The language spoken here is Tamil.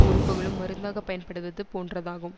உறுப்புகளும் மருந்தாகப் பயன்படுவது போன்றதாகும்